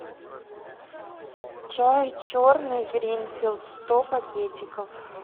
чай черный гринфилд сто пакетиков